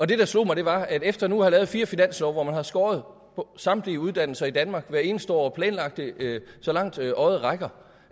det der slog mig var at efter nu at have lavet fire finanslove hvor man har skåret på samtlige uddannelser i danmark hvert eneste år og planlagt det så langt øjet rækker